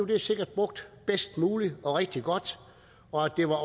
det sikkert brugt bedst muligt og rigtig godt og at det var